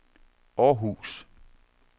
Århus